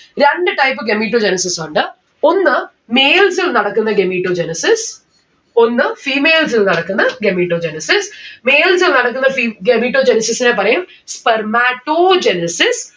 രണ്ട് type gametogenesis ഉണ്ട് ഒന്ന് males ൽ നടക്കുന്ന gametogenesis ഒന്ന് females ൽ നടക്കുന്ന gametogenesis. males ൽ നടക്കുന്ന fe gametogenesis നെ പറയും Spermatogenesis